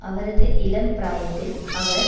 அவரது இளம் பிராயத்தில் அவர்